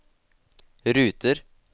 ruter